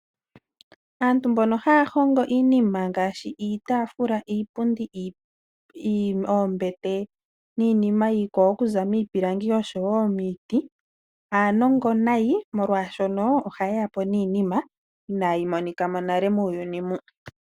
Aantu mbono haya hongo iinima ngaashi iitaafula, iipundi, oombete niinima iikwawo okuza miipilangi osho woo miiti. Aanongo nayi molwaashono oha ye yapo niinima inaayi monikamo nale muuyuni mu.